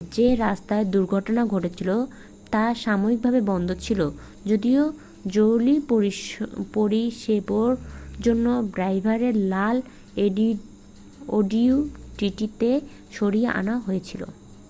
যে রাস্তায় দুর্ঘটনা ঘটেছিল তা সাময়িকভাবে বন্ধ ছিল যদিও জরুরি পরিষেবোর জন্য ড্রাইভারকে লাল audi tt থেকে সরিয়ে আনা হয়েছিল